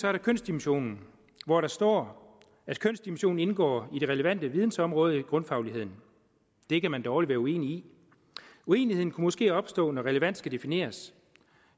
er der kønsdimensionen hvor der står at kønsdimensionen indgår i det relevante vidensområde i grundfagligheden det kan man dårligt være uenig i uenigheden kunne måske opstå når relevant skal defineres